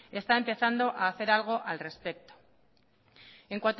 está empezando a hacer algo al respecto en